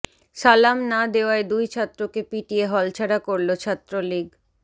সালাম না দেওয়ায় দুই ছাত্রকে পিটিয়ে হলছাড়া করল ছাত্রলীগ